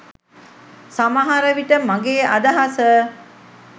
සමහර විට මගෙ අදහස